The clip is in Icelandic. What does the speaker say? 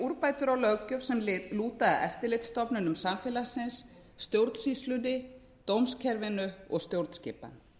úrbætur á löggjöf sem lúta að eftirlitsstofnunum samfélagsins stjórnsýslunni dómskerfinu og stjórnskipan